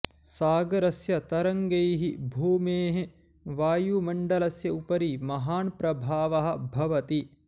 सागरस्य तरङ्गैः भूमेः वायुमण्डलस्य उपरि महान् प्रभावः भवति